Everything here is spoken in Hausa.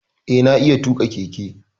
Eh, na iya tuƙa keke.